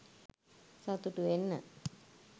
සතුටු වෙන්න